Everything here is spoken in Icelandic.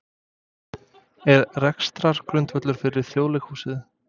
Er rekstrargrundvöllur fyrir Þjóðleikhúsinu?